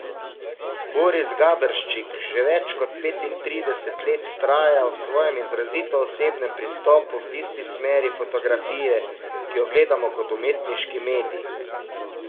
Boris Gaberščik že več kot petintrideset let vztraja v svojem izrazito osebnem pristopu v tisti smeri fotografije, ki jo gledamo kot umetniški medij.